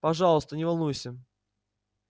пожалуйста не волнуйся